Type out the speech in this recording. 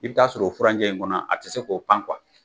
I bi t'a sɔrɔ o furancɛ in kɔnɔ a te se k'o pan kuwa